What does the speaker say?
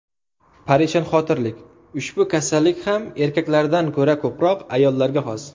Parishonxotirlik Ushbu kasallik ham erkaklardan ko‘ra ko‘proq ayollarga xos.